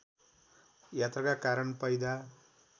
यात्राका कारण पैदा